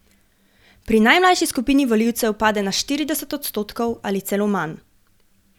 Pri najmlajši skupini volivcev pade na štirideset odstotkov ali celo manj.